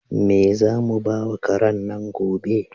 Me zamu bawa karen nan gobe?